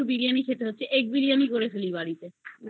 chicken biriyani খেতে ইচ্ছে করছে chicken নেই বাড়িতে egg biriyani করে খাই বাড়িতে